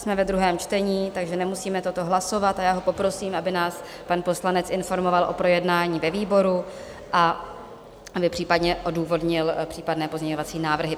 Jsme ve druhém čtení, takže nemusíme toto hlasovat, a já ho poprosím, aby nás pan poslanec informoval o projednání ve výboru a aby případně odůvodnil případné pozměňovací návrhy.